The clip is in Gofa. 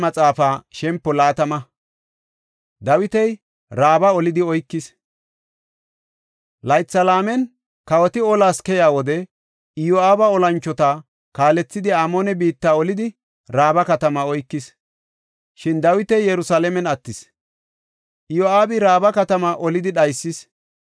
Laytha laamen kawoti olas keyiya wode Iyo7aabi olanchota kaalethidi Amoone biitta olidi Raaba katamaa oykis. Shin Dawiti Yerusalaamen attis; Iyo7aabi Raaba katamaa olidi dhaysis.